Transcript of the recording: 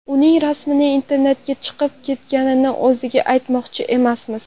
Uning rasmi internetga chiqib ketganini o‘ziga aytmoqchi emasmiz.